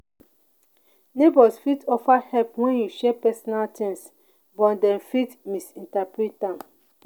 neighbors fit offer help when you share personal things but dem fit misinterpret am.